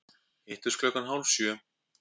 Hittumst klukkan hálf sjö.